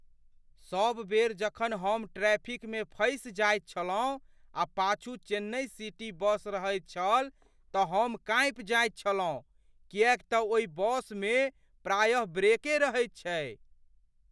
सब बेर जखन हम ट्रैफिकमे फँसि जाइत छलहुँ आ पाछू चेन्नइ सिटी बस रहैत छल तऽ हम काँपि जायत छलहुँ किएक तऽ ओहि बससभमे प्रायेः ब्रेक रहैत छै।